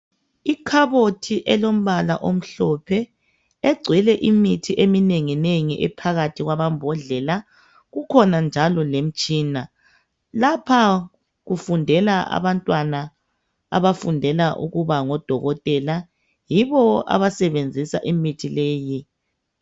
Ikhabothi elombala omhlophe egcwele imithi eminengi nengi ephakathi kwamambodlela, kukhona njalo lemtshina. Lapha kufundela abantwana abafundela ukuba ngodokotela yibo abasebenzisa imithi leyi.